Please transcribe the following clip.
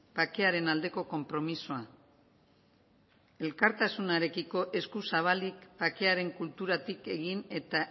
bakearen aldeko konpromisoa elkartasunarekiko eskuzabalik bakearen kulturatik egin eta